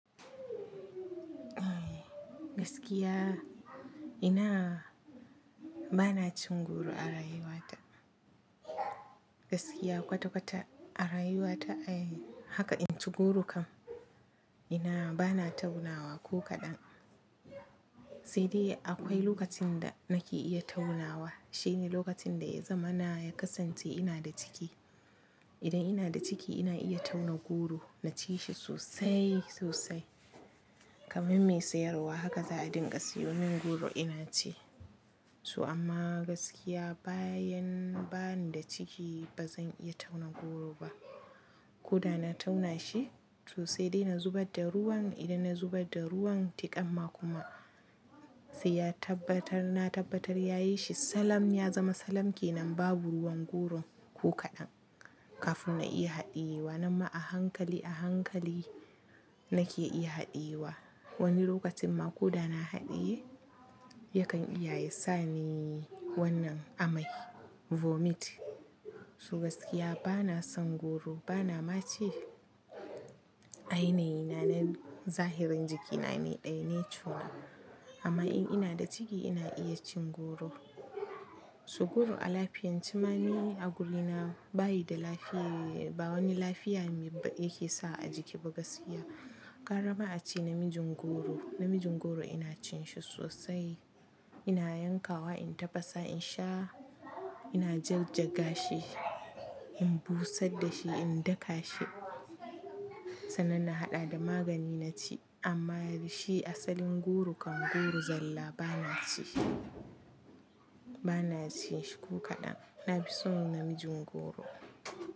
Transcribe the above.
Eh gaskiya ina bana cin goro a rayuwa ta. Gaskiya kwata kwata a rayuwa ta haka in ci goro kam ina bana taunawa ko kaɗan. Sai dai akwai lokacin da nake iya taunawa shine lokacin da yazamana ya kasance ina da ciki. Idan ina da ciki ina iya tauna goro na ci shi sosai sosai kamar mai sayarwa haka za a dinga siyo min goro ina ci. To amma gaskiya bayan bani da ciki bazan iya tauna goro ba. Ko da na tauna shi to sai dai na zubar da ruwan idan na zubar da ruwan tiƙamma kuma sai ya tabbatar na tabbatar yayi shi salam ya zama salam ke nan babu ruwan goron ko kaɗan. Kafin na iya haɗiyewa namma a hankali a hankali nake iya haɗiyewa. Wani lokacin ma ko da na haɗiye yakan iyaye sani wannan amai vomit. Su gaskiya bana son goro bana ma ci. A yanayi na nan zahirin jiki na ne ɗaya nature na amma in ina da ciki ina iya cin goro. Su goro a lafiyan ci mani a guri na bayi da lafiya ba wani lafiya yake sawa a jiki ba gaskiya. Gwarama a ce namijin goro namijin goro ina cin shi sosai ina yankawa in tafasa in sha ina jajjaga shi in busar da shi in daka shi sannan na haɗa da magani na ci amma shi asalin goro kam goro zalla bana ci. Bana ci shi ko kaɗan nafison namijin goro.